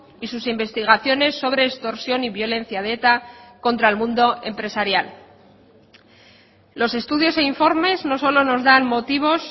y sus investigaciones sobre extorsión y violencia de eta contra el mundo empresarial los estudios e informes no solo nos dan motivos